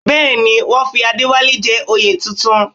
Bẹ́ẹ̀ ni, wọ́n fi Adéwálé jẹ oyè tuntun